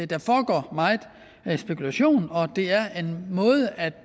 der foregår meget spekulation og det er en måde at